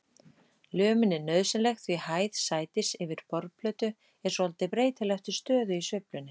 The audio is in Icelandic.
Lömin er nauðsynleg því hæð sætis yfir borðplötu er svolítið breytileg eftir stöðu í sveiflunni.